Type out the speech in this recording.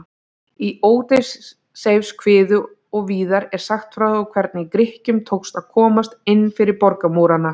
Í Ódysseifskviðu og víðar er sagt frá hvernig Grikkjum tókst að komast inn fyrir borgarmúrana.